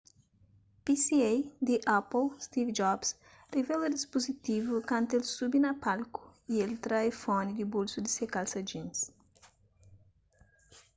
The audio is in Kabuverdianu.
pca di apple steve jobs rivela dispuzitivu kantu el subi na palku y el tra iphone di bolsu di se kalsa jeans